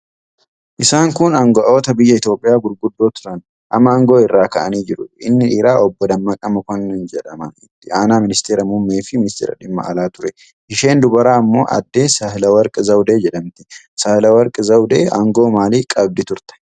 Isaan kun anga'oota biyya Itoophiyaa gurguddoo turan. Amma aangoo irraa ka'anii jiru. Inni dhiiraa Obbo Dammaqaa Mokonnin jedhama Itti Aanaa Ministiira Muummee fi Ministeera Dhimma Alaa ture. Isheen dubaraa Ammoo Adde Sahileewarq Zawudee jedhamti. Saayilewarq Zawudee aangoo maalii qabdi turte?